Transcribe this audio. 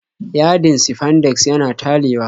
Yadin sifandex yana talewa